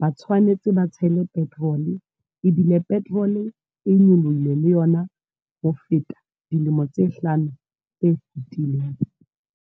Ba tshwanetse ba tshele petrol. Ebile petrol e nyolohile le yona. Ho feta, dilemo tse hlano tse fitileng.